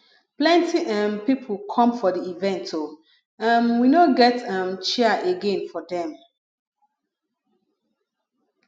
plenty um pipo come for di event o um we no get um chair again for dem